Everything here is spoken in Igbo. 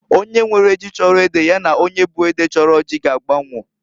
Onye nwere ji chọrọ ede ya na onye bu ede chọrọ ji g'agba onwo.